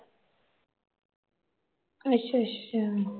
ਅੱਛਾ-ਅੱਛਾ